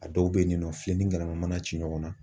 A dɔw bɛ yen nɔ fiyɛ ni kɛnɛma mana ci ɲɔgɔn na.